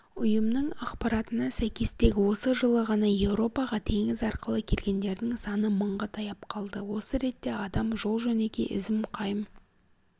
ұйымның ақпаратына сәйкес тек осы жылы ғана еуропаға теңіз арқылы келгендердің саны мыңға таяп қалды осы ретте адам жол жөнекей ізім-қайым